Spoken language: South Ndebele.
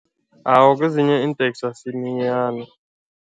Awa, kwezinye iinteksi asiminyani.